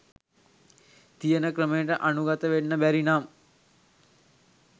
තියන ක්‍රමයට අනුගත වෙන්න බැරි නම්